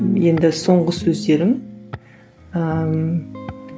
енді соңғы сөздерің ііі